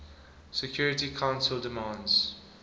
security council demands